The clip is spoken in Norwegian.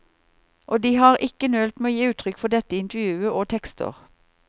Og de har ikke nølt med å gi uttrykk for dette i intervjuer og tekster.